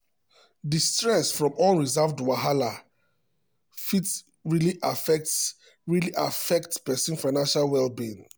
di stress from unresolved wahala fit really affect really affect person financial well-being.